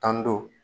Tan ni duuru